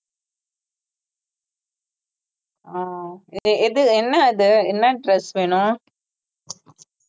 ஆஹ் எது என்ன இது என்ன dress வேணும்